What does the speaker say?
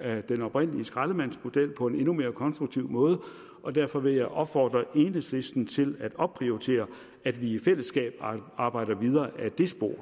af den oprindelige skraldemandsmodel på en endnu mere konstruktiv måde og derfor vil jeg opfordre enhedslisten til at opprioritere at vi i fællesskab arbejder videre ad det spor